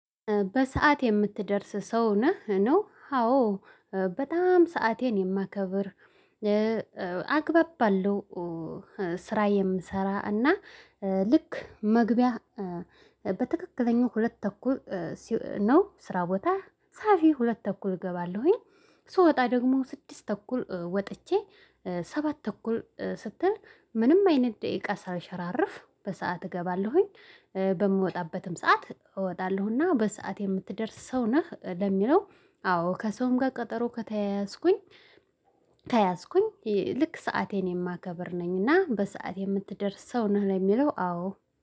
በሰአት የምትደርስ ሰው ነህ? ነው አዎ በጣም ሰአቴን የማከብር። አግባብ ባለው ስራ የምሰራ እና ልክ መግቢያ በትክክለኛው ሁለት ተኩል ነው። ስራ ቦታ ሳፊ ሁለት ተኩል እገባለሁኝ። ስወጣ ደግሞ ስድስት ተኩል ወጥቼ ሰባት ተኩል ስትል ምንም አይነት ደቂቃ ሳልሽራርፍ በሰአት እገባለሁኝ። በምወጣበትም ሰዓት እወጣለሁ። እና በሰአት የምትደርስ ሰው ነህ? ለሚለው አዎ ከሰውም ጋር ቀጠሮ ከተያያዝኩኝ። ከያዝኩኝ ልክ ሰአቴን የማከብር ነኝና በሰአቴ የምትደርስ ሰው ነህ ለሚለው አዎ